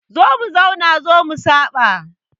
Zo mu zauna zo mu saɓa